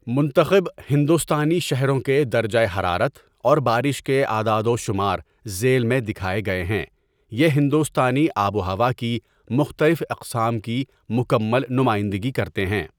منتخب ہندوستانی شہروں کے درجہ حرارت اور بارش کے اعداد و شمار ذیل میں دکھائے گئے ہیں، یہ ہندوستانی آب و ہوا کی مختلف اقسام کی مکمل نمائندگی کرتے ہیں۔